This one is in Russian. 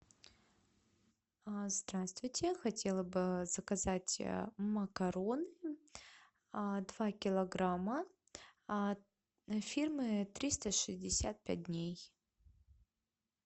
здравствуйте хотела бы заказать макарон два килограмма фирмы триста шестьдесят пять дней